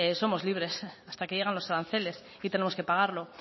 somos libres hasta que llegan los aranceles y tenemos que pagarlo